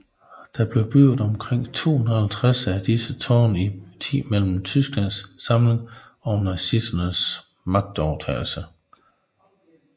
Der blev bygget omkring 250 af disse tårne i tiden mellem Tysklands samling og nazisternes magtovertagelse